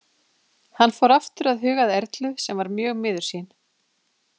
Hann fór aftur að huga að Erlu sem var mjög miður sín.